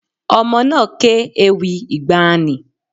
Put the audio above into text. Ọmọ náà ké ewì ìgbàanì.